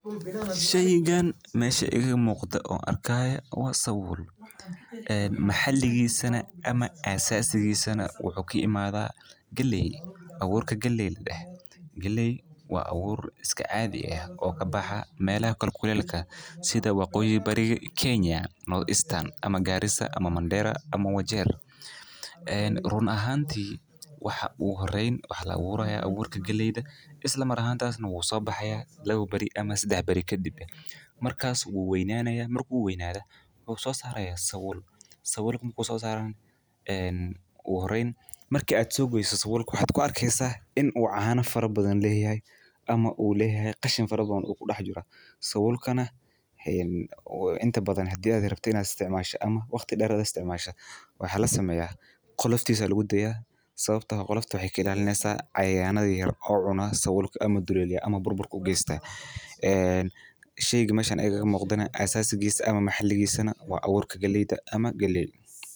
Shaygaan meesha ega muuqda oo arkaya wa sawul. Maxalligii sana ama caasasadii sana wuxuu ku yimaada galey, awuurka galeyd la dah. Galey waa awuur iska caadi ah oo ka baxa meelo kalkulaylka sida waqooyi bariga Kenya, North Eastern ama Garissa ama Mandera ama Wajir. Run ahaantii waxa uu horeyn wax la awuurka galeyda. Isla marka hanta wuu soo baxaya labo bari ama sidax bari ka dibed. Markaas uu waynaanaya markuu waynaada ugu soo saaraya sawul. Sawalku ku soo saaraan uu horeyn markii aad soo goosdo sawol kuxood ku arkiisaa in uu caana faro badan la heeyay ama uu la hay qashin faro doon u dhax jira. Sawolkana inuu inta badan hadii aad rabta inaad isticmaasha ama waqti dheeraad isticmaasha. Way xala sameeya qolof disa aad u gudbiya sababtoo ha qoloftu waxay kelaalineysa cayaano yeer oo cuna sawolka ama duleelyah ama burbur ku geystay. Sheeyagi meeshaan ega muuqdina caasasigiisa ama maxalligiisa waa awuurka galeyda ama galey.